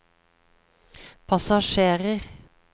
passasjerer